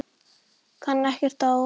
Kann ekkert á hann.